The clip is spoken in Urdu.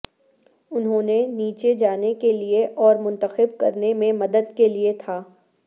انہوں نے نیچے جانے کے لئے اور منتخب کرنے میں مدد کے لئے تھا